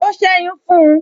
O seyun fun un